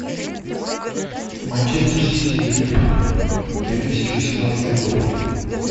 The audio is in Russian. манчестер сити ливерпуль две тысячи восемнадцатый год